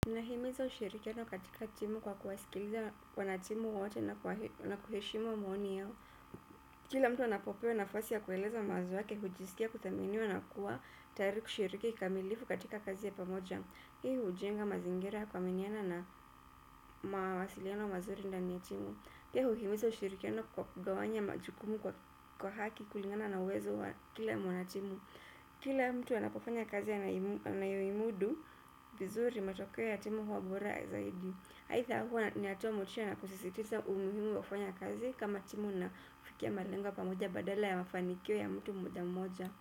Nahimiza ushirikiano katika timu kwa kuwasikiliza wanatimu wote na kuheshimu maoni yao. Kila mtu anapopewa nafasi ya kueleza mawazo yake hujisikia kuthaminiwa na kuwa tayari kushiriki kikamilifu katika kazi ya pamoja. Hii hujenga mazingira ya kuaminiana na mawasiliano mazuri ndani ya timu. Hiyo huhimiza ushirikiano kwa kugawanya majukumu kwa haki kulingana na uwezo wa kila mwanatimu. Kila mtu anapofanya kazi anayoimudu, vizuri matokeo ya timu huwa bora zaidi aidha huwa inatoamotisha na kusisitiza umuhimu wa kufanya kazi kama timu na kufikia malengo pamoja badala ya mafanikio ya mtu mmoja mmoja.